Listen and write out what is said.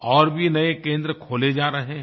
और भी नए केंद्र खोले जा रहे हैं